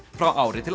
frá ári til